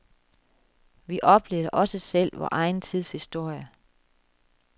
Vi oplever også selv vor egen tids historie.